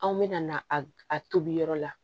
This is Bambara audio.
Anw bɛna na a tobi yɔrɔ la